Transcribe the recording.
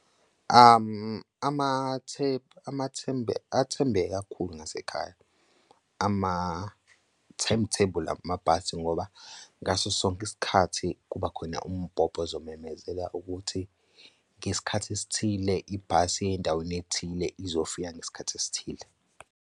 Athembeke kakhulu ngasekhaya ama-timetable amabhasi ngoba ngaso sonke isikhathi kubakhona umbhobho ozomemezela ukuthi ngesikhathi esithile ibhasi endaweni ethile izofika ngesikhathi esithile.